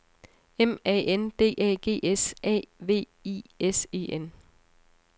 M A N D A G S A V I S E N